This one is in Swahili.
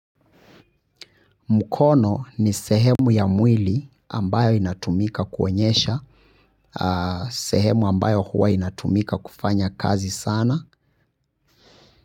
Mkono ni sehemu ya mwili ambayo inatumika kuonyesha, sehemu ambayo huwa inatumika kufanya kazi sana.